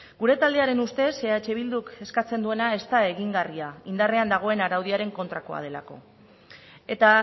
gure taldearen ustez eh bilduk eskatzen duena ez da egingarria indarrean dagoen araudiaren kontrakoa delako eta